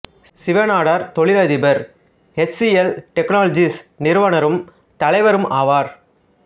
சிவ நாடார் தொழிலதிபர் H C L technologies நிறுவனரும் தலைவருமாவார்